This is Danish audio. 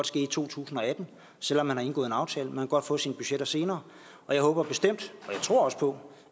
ske i to tusind og atten selv om man har indgået en aftale man kan godt få sine budgetter senere jeg håber bestemt og jeg tror også på